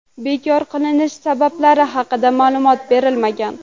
Bekor qilinish sabablari haqida ma’lumot berilmagan.